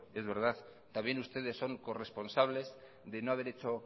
es verdad también ustedes son corresponsables de no haber hecho